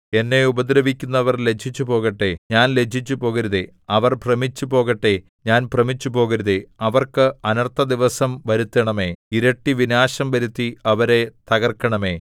എന്നെ ഉപദ്രവിക്കുന്നവർ ലജ്ജിച്ചുപോകട്ടെ ഞാൻ ലജ്ജിച്ചുപോകരുതേ അവർ ഭ്രമിച്ചുപോകട്ടെ ഞാൻ ഭ്രമിച്ചുപോകരുതേ അവർക്ക് അനർത്ഥദിവസം വരുത്തണമേ ഇരട്ടി വിനാശം വരുത്തി അവരെ തകർക്കണമേ